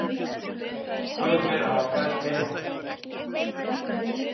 Tvö þeirra hafa fæðst heima